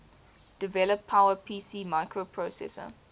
develop powerpc microprocessor